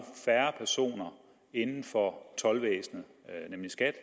færre personer inden for toldvæsenet nemlig skat